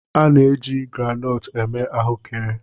A na-eji groundnut eme ahụekere.